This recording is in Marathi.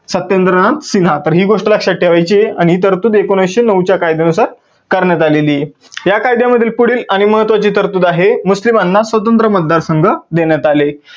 सत्येंद्रनाथ सिन्हा तर ही गोष्ट लक्षात ठेवायची आहे. आणि ही तरतूद एकोणविसशे नऊ च्या कायद्यानुसार करण्यात आलेली आहे या कायद्यामधील पुढील आणि महत्वाची तरतूद आहे मुस्लिमांना स्वतंत्र मतदार संघ देण्यात आले.